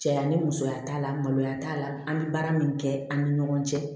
Cɛya ni musoya t'a la maloya t'a la an bɛ baara min kɛ an ni ɲɔgɔn cɛ